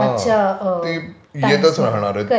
हा ती येतच राहणार आहे.